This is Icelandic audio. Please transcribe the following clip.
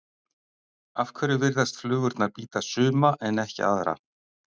Af hverju virðast flugurnar bíta suma en ekki aðra?